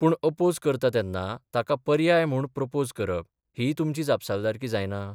पूण अपोझ करता तेन्ना ताका पर्याय म्हूण प्रपोझ करप हीय तुमची जापसालदारकी जायना?